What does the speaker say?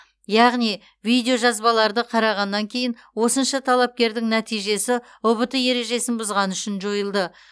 яғни видео жазбаларды қарағаннан кейін осынша талапкердің нәтижесі ұбт ережесін бұзғаны үшін жойылды